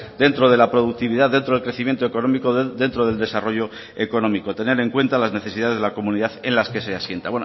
dentro de la productividad dentro del crecimiento económico dentro del desarrollo económico tener en cuenta las necesidades de la comunidad en las que se asienta